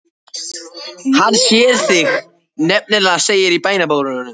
Hann sér þig nefnilega, segir hún í bænarrómi.